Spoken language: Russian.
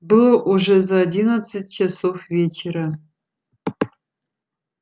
было уже за одиннадцать часов вечера